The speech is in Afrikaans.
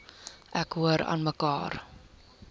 ek hoor aanmekaar